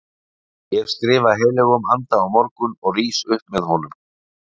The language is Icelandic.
Ég skrifa heilögum anda á morgun og rís upp með honum.